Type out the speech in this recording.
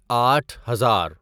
آٹھ ہزار